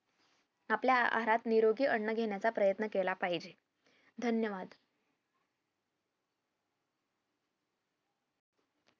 आपल्या आहारात निरोगी अन्न घेण्याचा प्रयत्न केला पाहिजे धन्यवाद